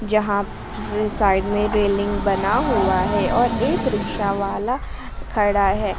जहां साईड में रेलिंग बना हुआ हैं और एक रिक्शावाला खड़ा है।